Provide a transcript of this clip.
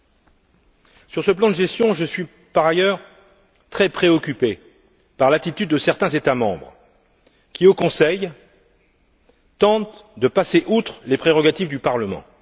À propos de ce plan de gestion, je suis par ailleurs très préoccupé par l'attitude de certains États membres qui, au Conseil, tentent de passer outre les prérogatives du Parlement.